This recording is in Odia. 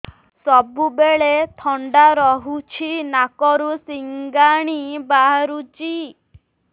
ସବୁବେଳେ ଥଣ୍ଡା ରହୁଛି ନାକରୁ ସିଙ୍ଗାଣି ବାହାରୁଚି